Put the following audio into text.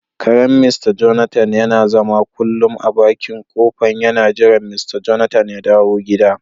Karen "mr Jonathan " yana zama kullun a bakin kofa yana jiran" mr Jonathan " ya dawo gida.